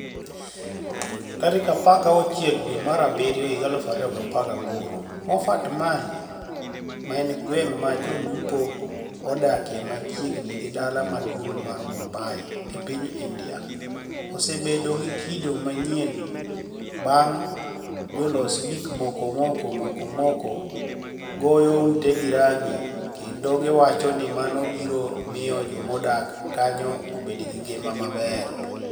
16 dwe mar abiryo 2018 Mofart Mali, ma eni gwenig ' ma jolupo odakie machiegnii gi dala maduonig ' mar Mumbai, e piniy Inidia, osebed gi kido maniyieni banig ' jolos gik moko moko moko moko goyo utego ranigi kenido giwacho nii mano biro miyo joma odak kaniyo obed gi paro maber.